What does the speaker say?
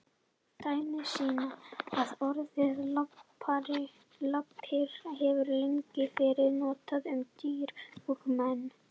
Dæmi sýna að orðið lappir hefur lengi verið notað um dýr og menn.